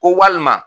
Ko walima